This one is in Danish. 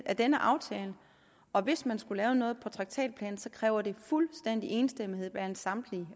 af denne aftale og hvis man skulle lave noget på traktatplan så kræver det fuldstændig enstemmighed blandt samtlige